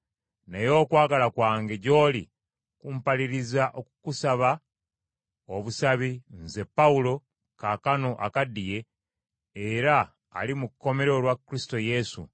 naye okwagala kwange gy’oli kumpaliriza okukusaba obusabi, nze, Pawulo, kaakano akaddiye, era ali mu kkomera olwa Kristo Yesu;